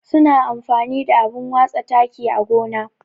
Su na amfani da abun watsa taki á gona.